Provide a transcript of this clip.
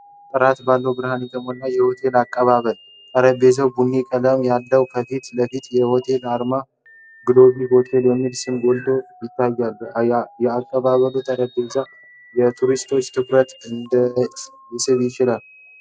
ጥርት ባለ ብርሃን የተሞላው የሆቴል አቀባበል (Reception) ጠረጴዛ ቡኒ ቀለም አለው። ከፊት ለፊት የሆቴሉ አርማ እና "Global Hotel" የሚለው ስም ጎልቶ ይታያል። የአቀባበሉ ጠረጴዛ የቱሪስቶችን ትኩረት እንዴት ሊስብ ይችላል?